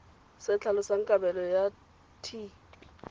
se tlhalosang kabelo ya t